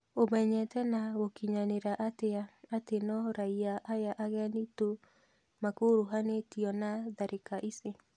"Ũmenyete na gũkinyanĩria atĩa atĩ no raiya aya ageni tu makuruhanĩtio na tharika ici?"